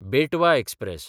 बेटवा एक्सप्रॅस